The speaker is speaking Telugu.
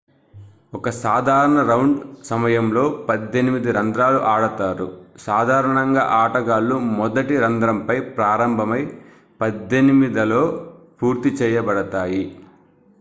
ఒక సాధారణ రౌండ్ సమయంలో పద్దెనిమిది రంధ్రాలు ఆడతారు సాధారణంగా ఆటగాళ్ళు మొదటి రంధ్రం పై ప్రారంభమై పద్దెనిమిదలో పూర్తి చేయబడతాయి